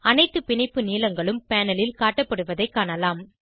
அனைத்து பிணைப்பு நீளங்களும் பேனல் ல் காட்டப்படுவதைக் காணலாம்